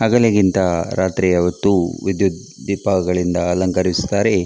ಹಗಲಿಗಿಂತ ರಾತ್ರಿಯ ಹೊತ್ತು ವಿದ್ಯುತ್ ದೀಪಗಳಿಂದ ಅಲಂಕರಿಸುತ್ತಾರೆ .